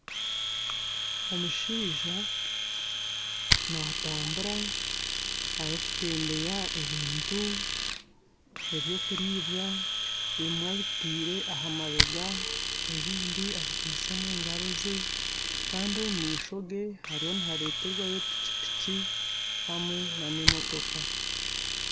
Omushaija natambura Ari kutembeya ebintu ebyokuriibwa ebimwe abitaire ahamabega ebindi abikwaitse omungaro ze Kandi omumaishoge hariyo nihareterwayo piki piki hamwe nana emotoka